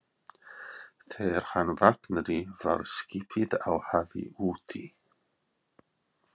Þegar hann vaknaði var skipið á hafi úti.